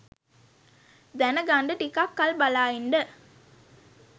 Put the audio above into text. දැනගන්ඩ ටිකක් කල් බලා ඉන්ඩ